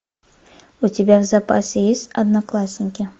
у тебя в запасе есть одноклассники